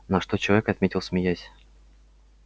на что человек отметил смеясь